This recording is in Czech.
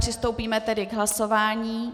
Přistoupíme tedy k hlasování.